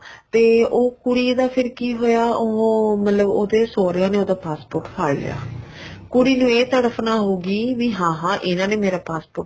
ਤੇ ਉਹ ਕੁੜੀ ਫ਼ਿਰ ਕੀ ਹੋਇਆ ਉਹ ਮਤਲਬ ਉਹਦੇ ਸੋਹਰਿਆ ਨੇ ਉਹਦਾ passport ਫੜ ਲਿਆ ਕੁੜੀ ਨੂੰ ਏ ਤੜਫ਼ਨਾ ਹੋਗੀ ਵੀ ਹਾਂ ਹਾਂ ਇਹਨਾ ਨੇ ਮੇਰਾ passport